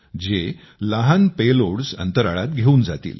त्यामुळे अंतराळामध्ये लहान पेलोडस् घेवून जातील